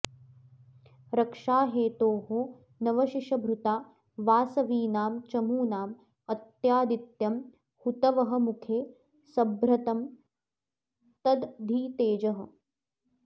रक्षाहेतोर्नवशशिभृता वासवीनां चमूनां अत्यादित्यं हुतवहमुखे संभ्र्तं तद् धि तेजः